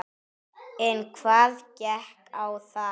En hvað gekk á þar?